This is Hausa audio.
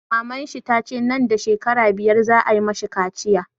Maman shi tace nan da shekara biyar za a yi mashi kaciya